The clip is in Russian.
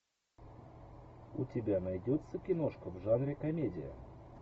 у тебя найдется киношка в жанре комедия